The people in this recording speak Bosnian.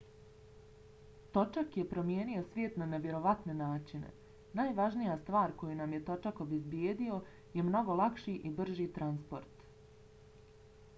točak je promijenio svijet na nevjerovatne načine. najvažnija stvar koju nam je točak obezbijedio je mnogo lakši i brži transport